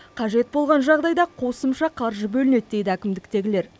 қажет болған жағдайда қосымша қаржы бөлінеді дейді әкімдіктегілер